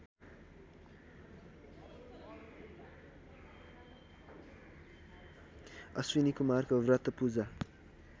अश्विनीकुमारको व्रत पूजा